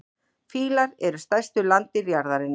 Fílar eru stærstu landdýr jarðarinnar.